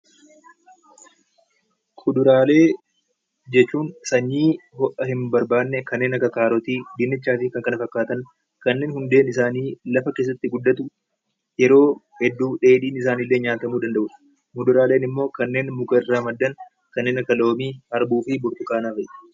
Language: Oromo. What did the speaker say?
Kuduraalee kan jennuun sanyii kan hin barbaanne kanneen akka kaarotii, dinnichaa fi kan kana fakkaatan kanneen hundeen isaanii lafa keessatti guddatu, yeroo hedduu illee dheedhiin isaanii nyaatamuu danda'udha. Muduraaleen immoo warreen muka irraa maddan kanneen akka loomii, harbuu fi burtukaana fa'i.